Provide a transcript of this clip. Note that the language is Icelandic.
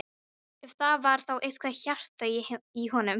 Ef það var þá eitthvað hjarta í honum!